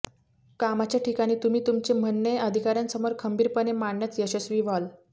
कामाच्या ठिकाणी तुम्ही तुमचे म्हणणे अधिकाऱ्यांसमोर खंबीरपणे मांडण्यात यशस्वी व्हाल